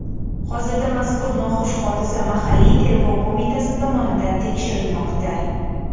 Hozirda mazkur noxush hodisa mahalliy tergov qo‘mitasi tomonidan tekshirilmoqda.